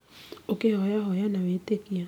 ũkihoya hoya na wĩtĩkio